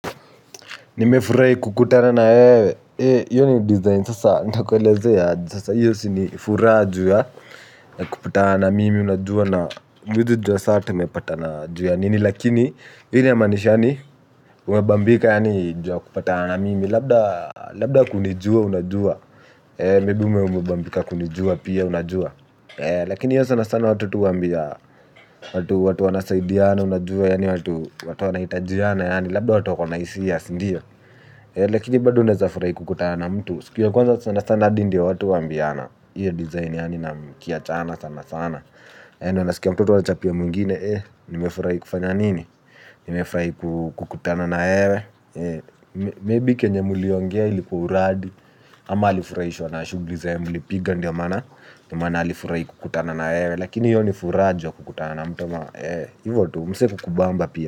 Nimefurahi kukutana na wewe, hiyo ni design sasa, ntakuelezea aje sasa hiyo si ni furaa ju ya, kupataa namimi, unajua na huwezi juwa sa tumepatana ju ya nini, lakini, hili yamaanisha yani, umebambika yani ju ya kupataa na mimi, labda ukunijua unajua, maybe ume umebambika kunijua pia unajua, lakini sana sana watu tu huwambia watu wanasaidiana unajuwa yani watu wanahitajiana yani labda watu wako na hisia sindio. Lakini bado unaezafurahi kukutana na mtu. Siku ya kwanza sana sana adi ndio watu huwambiana. Iyo design yani na mkiachana sana sana unasikia mtu wachapia mwingine eh nimefurahi kufanya nini. Nimefurahi kukutana na wewe Maybe kenye muliongea ilikua uradi ama alifurahishwa na shugli zenye mlipiga ndio maana alifurahi kukutana na wewe lakini iyo ni fura ju ya kukutana na mtu ama ivo tu mse kukubamba pia.